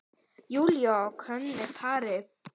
Júlíu og ókunnu pari.